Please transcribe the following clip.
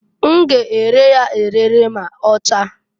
N g' ere ya ere m'ọchaa.